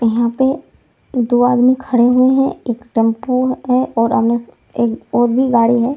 यहाँ पे दो आदमी खड़े हुए हैं एक टेम्पू है और सामने स एक और भी गाड़ी है ।